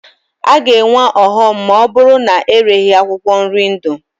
A ga-enwe ọghọm ma ọ bụrụ na ereghi akwụkwọ nri ndụ.